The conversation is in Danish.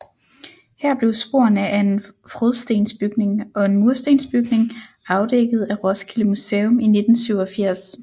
Her blev sporene af en frådstensbygning og en murstensbygning afdækket af Roskilde Museum i 1987